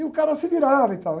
E o cara se virava e tal.